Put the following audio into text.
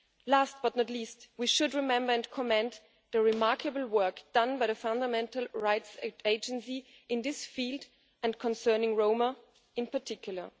Last, but not least, we should remember and commend the remarkable work done by the Fundamental Rights Agency in this field, and concerning Roma in particular.